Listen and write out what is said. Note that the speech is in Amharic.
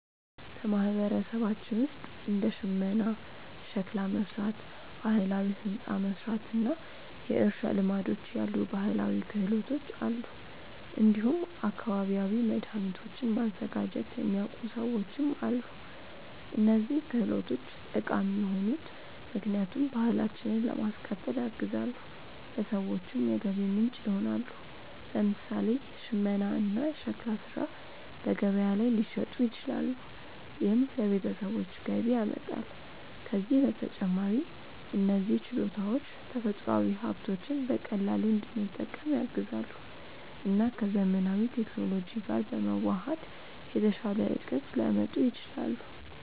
በማህበረሰባችን ውስጥ እንደ ሽመና፣ ሸክላ መሥራት፣ ባህላዊ ሕንፃ መሥራት እና የእርሻ ልማዶች ያሉ ባህላዊ ክህሎቶች አሉ። እንዲሁም አካባቢያዊ መድኃኒቶችን ማዘጋጀት የሚያውቁ ሰዎችም አሉ። እነዚህ ክህሎቶች ጠቃሚ የሆኑት ምክንያቱም ባህላችንን ለማስቀጠል ያግዛሉ፣ ለሰዎችም የገቢ ምንጭ ይሆናሉ። ለምሳሌ ሽመና እና ሸክላ ሥራ በገበያ ላይ ሊሸጡ ይችላሉ፣ ይህም ለቤተሰቦች ገቢ ያመጣል። ከዚህ በተጨማሪ እነዚህ ችሎታዎች ተፈጥሯዊ ሀብቶችን በቀላሉ እንድንጠቀም ያግዛሉ እና ከዘመናዊ ቴክኖሎጂ ጋር በመዋሃድ የተሻለ እድገት ሊያመጡ ይችላሉ።